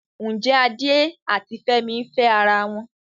Ǹjẹ́ Adé àti Fúnmi ń fẹ́ ara wọn?